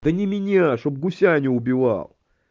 да не меня чтоб гуся не убивал